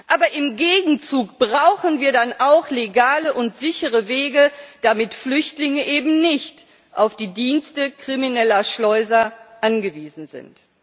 Aber im Gegenzug brauchen wir dann auch legale und sichere Wege, damit Flüchtlinge eben nicht auf die Dienste krimineller Schleuser angewiesen sind.